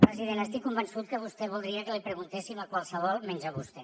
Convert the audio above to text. president estic convençut que vostè voldria que l’hi preguntéssim a qualsevol menys a vostè